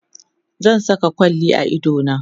zan Saka kwalli a idona